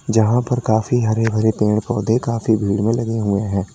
जहां पर काफी हरे भरे पेड़ पौधे काफी दूर में लगे हुए हैं।